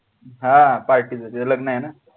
हा party चा त्यांचं लग्न आहे ना.